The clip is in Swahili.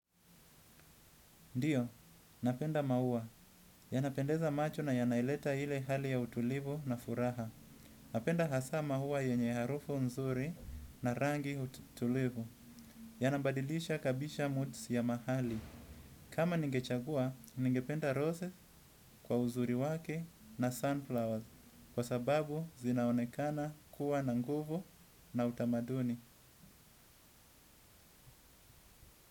Ndio, napenda maua. Yanapendeza macho na yanaileta ile hali ya utulivu na furaha. Napenda hasa maua yenye harufu nzuri na rangi tulivu. Yanabadilisha kabisha moods ya mahali. Kama ningechagua, ningependa roses kwa uzuri wake na sunflowers. Kwa sababu, zinaonekana kuwa na nguvu na utamaduni.